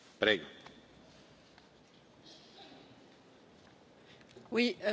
Monsieur le Président, la situation en France est extrêmement préoccupante.